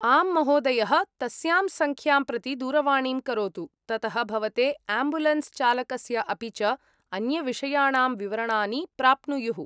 आम्, महोदयः, तस्यां सङ्ख्यां प्रति दूरवाणीं करोतु। ततः भवते आम्बुलेन्स् चालकस्य अपि च अन्यविषयाणां विवरणानि प्राप्नुयुः।